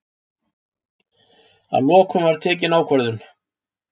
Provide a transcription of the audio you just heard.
Að lokum var tekin ákvörðun.